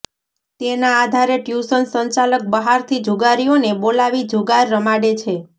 તેના આધારે ટ્યુશન સંચાલક બહારથી જુગારીઓને બોલાવી જુગાર રમાડે છે